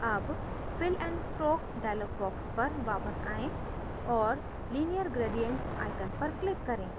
अब fill and stroke dialog box पर वापस आएँ और linear gradient icon पर click करें